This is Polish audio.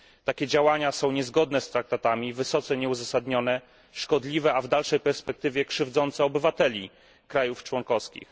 Takie działania są niezgodne z traktatami, wysoce nieuzasadnione, szkodliwe, a w dalszej perspektywie, krzywdzące obywateli państw członkowskich.